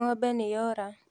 Ngombe nĩyora.